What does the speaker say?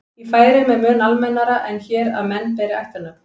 í færeyjum er mun almennara en hér að menn beri ættarnöfn